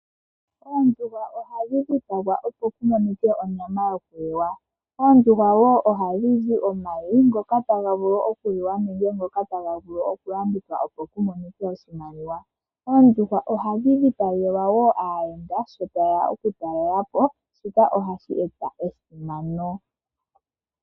Oondjuhwa ohadhi dhipagwa opo pu monike onyama yokuliwa. Oondjuhwa ohadhi zi wo omayi ngoka taga vulu okuliwa nenge okulandithwa opo pu monike oshimaliwa. Oondjuhwa ohadhi dhipagelwa wo aayenda sho taye ya okutalelapo, shika ohashi eta esimano.